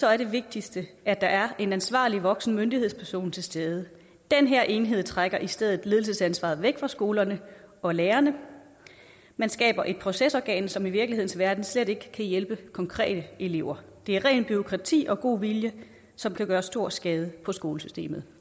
er det vigtigste at der er en ansvarlig voksen myndighedsperson til stede den her enhed trækker i stedet ledelsesansvaret væk fra skolerne og lærerne man skaber et procesorgan som i virkelighedens verden slet ikke kan hjælpe konkrete elever det er ren bureaukrati og god vilje som kan gøre stor skade på skolesystemet